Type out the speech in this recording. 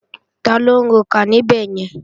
Taló ń rokà níbẹ̀yẹn?